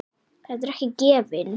Þetta er ekki gefins.